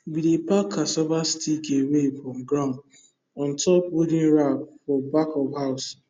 we dey pack cassava stick away from ground on top wooden rack for back of house